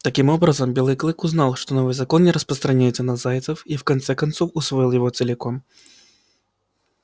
таким образом белый клык узнал что новый закон не распространяется на зайцев и в конце концов усвоил его целиком